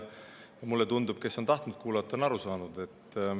Mulle tundub, et kes on tahtnud kuulata, on aru saanud.